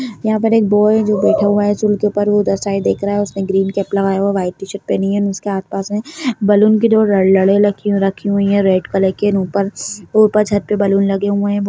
यहाँ पे एक बॉय है जो बैठ हुआ है स्टॉल के ऊपर वो उधर साइड दिख रहा है उसने ग्रीन कैप लगाया हुआ है वाइट टी-शर्ट पहनी है एंड उस के आस पास में बलून की दो लड़-लडे रखी-रही हुई है रेड कलर की ऊपर वो ऊपर छत पे बलून लगे हुए हैं।